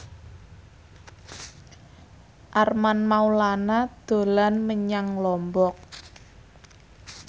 Armand Maulana dolan menyang Lombok